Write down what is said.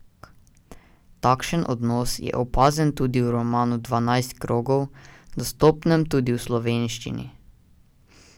Takšen odnos je opazen tudi v romanu Dvanajst krogov, dostopnem tudi v slovenščini.